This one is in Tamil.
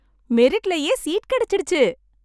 மெரிட்லேயே சீட் கிடைச்சிடுச்சி!